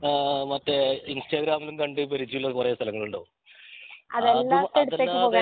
ഏഹ് മറ്റേ ഇൻസ്റ്റാഗ്രാമിലും കണ്ട് പരിജയം ഉള്ള കൊറേ സ്ഥലങ്ങളുണ്ടാവും അത് അതില്ലാതെ